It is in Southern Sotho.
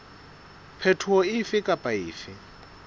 phetoho efe kapa efe e